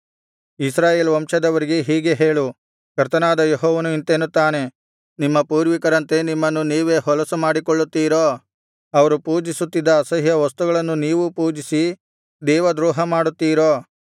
ಇಸ್ರಾಯೇಲ್ ವಂಶದವರಿಗೆ ಹೀಗೆ ಹೇಳು ಕರ್ತನಾದ ಯೆಹೋವನು ಇಂತೆನ್ನುತ್ತಾನೆ ನಿಮ್ಮ ಪೂರ್ವಿಕರಂತೆ ನಿಮ್ಮನ್ನು ನೀವೇ ಹೊಲಸು ಮಾಡಿಕೊಳ್ಳುತ್ತೀರೋ ಅವರು ಪೂಜಿಸುತ್ತಿದ್ದ ಅಸಹ್ಯ ವಸ್ತುಗಳನ್ನು ನೀವೂ ಪೂಜಿಸಿ ದೇವದ್ರೋಹ ಮಾಡುತ್ತೀರೋ